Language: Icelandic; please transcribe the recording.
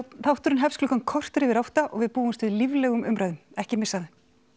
þátturinn hefst klukkan korter yfir átta og við búumst við líflegum umræðum ekki missa